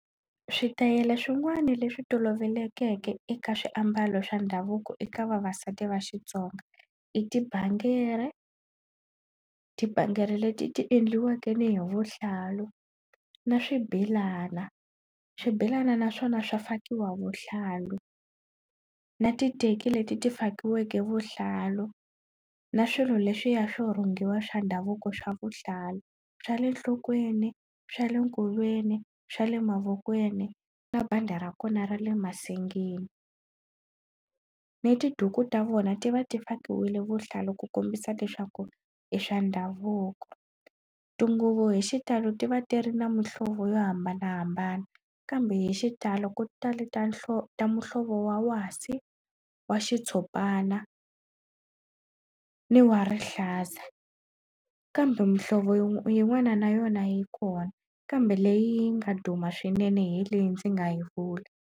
Switayele swin'wana leswi tolovelekeke eka swiambalo swa ndhavuko eka vavasati va Xitsonga i tibangere, tibangeri leti ti endliwaka ni hi vuhlalu na swibelana. Swibelana na swona swa fakiwa vuhlalu, na titeki leti ti fakiweka vuhlalu na swilo leswiya swo rhungiwa swa ndhavuko swa vuhlalu, swa le nhlokweni, swa le nkolweni, swa le mavokweni na bandi ra kona ra le masengeni. Ni tiduku ta vona ti va ti fakiwile vuhlalu ku kombisa leswaku i swa ndhavuko tinguvu hi xitalo ti va ti ri na muhlovo yo hambanahambana kambe hi xitalo ku tale ta ta muhlovo wa wasi, wa xitshopana ni wa rihlaza. Kambe muhlovo yin'wana na yona yi kona kambe leyi nga duma swinene hi leyi ndzi nga yi vula.